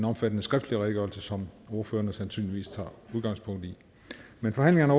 omfattende skriftlig redegørelse som ordførerne sandsynligvis tager udgangspunkt i men forhandlingerne